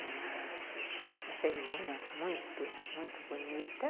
Uma cerimônia muito muito bonita.